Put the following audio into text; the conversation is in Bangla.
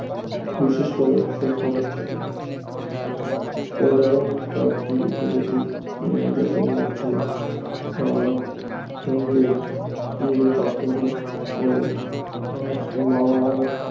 বিশেষ করে সভ্য অঞ্চলে এই ধরনের কয়েকটি উপজাতি জাতির মধ্যে আহ হুণদের ইউরোপ আক্রমণ ও আহ মারাড়ার